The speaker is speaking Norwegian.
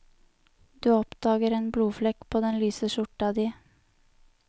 Du oppdager en blodflekk på den lyse skjorta di.